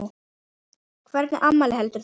Hvernig afmæli heldur þú?